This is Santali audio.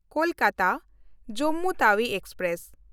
ᱠᱳᱞᱠᱟᱛᱟ–ᱡᱚᱢᱢᱩ ᱛᱟᱣᱤ ᱮᱠᱥᱯᱨᱮᱥ